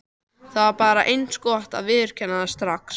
Það var bara eins gott að viðurkenna það strax.